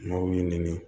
N'aw y'i ɲini